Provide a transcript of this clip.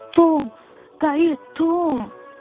Tom, qayıt, Tom!